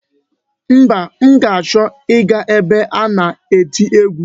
Mba, m ga-achọ ịga ebe a na-eti egwu.